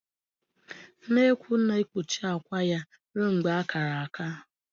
Nnekwu na-ekpuchi akwa ya ruo mgbe ha kara